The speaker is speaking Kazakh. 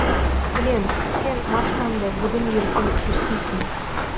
білем сен маскаңды бүгін ертең шешпейсің